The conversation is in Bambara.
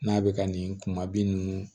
N'a bɛ ka nin kuma bi nn